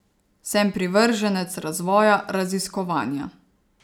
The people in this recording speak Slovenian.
Sem privrženec razvoja, raziskovanja.